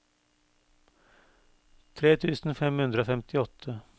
tre tusen fem hundre og femtiåtte